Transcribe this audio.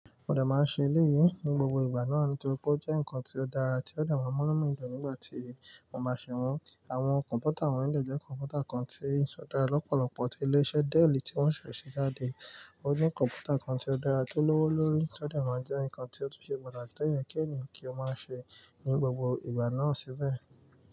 Mo dẹ̀ máa ṣe eléyìí ní gbogbo ìgbà náà nítorí pé ó jẹ́ nǹkan tó dára tí ó dẹ̀ má mú’nú mi dùn nígbà tí mo bá ṣẹ̀ wọ́n. Àwọn kọ̀m̀pútà awọ́n eleyii jẹ́ kọ̀m̀pútà kan tí ó dára lọ́pọ̀lọpọ̀ tí ilé-iṣẹ́ Dell tí wọ́n ṣẹ̀ ṣe jáde. O ní kọ̀m̀pútà kan tí ó dára tó lówó lórí tí ó dà má jẹ́ nǹkan tí ó tún ṣe pàtàkì tó yẹ kí èèyàn kí ó máa ṣe ní gbogbo ìgbà náà síbẹ̀.